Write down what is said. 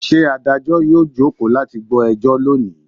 Ṣé Adájọ́ yóò jókòó láti gbọ́ ẹjọ́ lónìí?